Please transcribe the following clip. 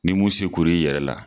Ni mun se kura yɛrɛ la